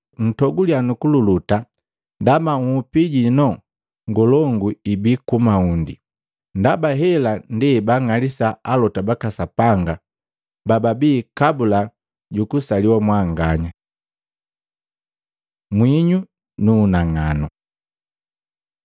Ntoguliya nukululuta ndaba nhupi inu ngolongu ibi ku maundi. Ndaba hela ndi ebaang'alisa alota baka Sapanga bababii kabula jukusaliwa mwanganya. Mwinyu nu unang'anu Maluko 9:50; Luka 14:34-35